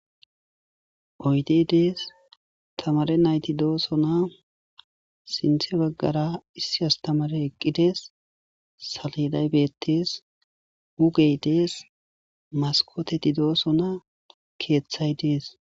oydey dees tamare nayti doosona sinthe baggara issi astamare eqqidees saleday beettees hugey dees maskoteti doosona keeththay dees